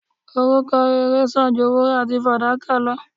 Orúkọ rere san ju wúrà àti fàdákà lo